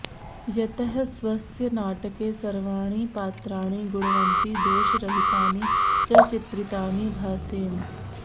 यतः स्वस्य नाटके सर्वाणि पात्राणि गुणवन्ति दोषरहितानि च चित्रितानि भासेन